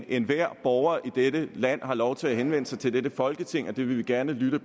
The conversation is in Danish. enhver borger i dette land har lov til at henvende sig til dette folketing og det vil vi gerne lytte